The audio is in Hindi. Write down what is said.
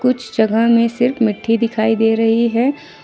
कुछ जगह में सिर्फ मिट्टी दिखाई दे रही है।